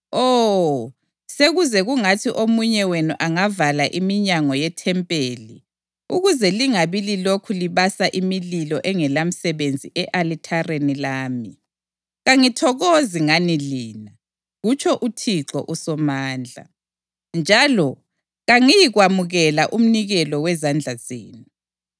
“Oh, sekuze kungathi omunye wenu angavala iminyango yethempeli ukuze lingabi lilokhu libasa imililo engelamsebenzi e-alithareni lami! Kangithokozi ngani lina,” kutsho uThixo uSomandla, “njalo kangiyikwamukela umnikelo wezandla zenu.